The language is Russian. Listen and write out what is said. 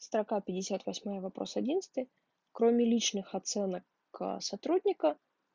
строка пятьдесят восьмая вопрос одиннадцатый кроме личных оценок аа сотрудника